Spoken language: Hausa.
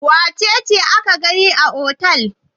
Wace ce aka gani a otel?